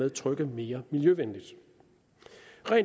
at trykke mere miljøvenligt